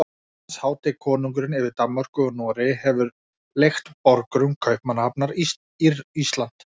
Hans hátign konungurinn yfir Danmörku og Noregi hefur leigt borgurum Kaupmannahafnar Ísland.